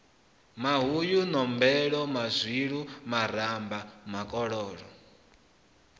mahuyu nombelo mazwilu maramba makoloko